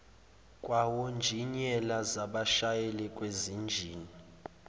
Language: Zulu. kwawonjiniyela zabashayeli bezinjini